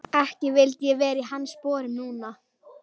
Ekki vildi ég vera í hans sporum núna.